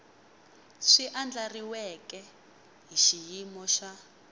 swi andlariweke hi xiyimo xa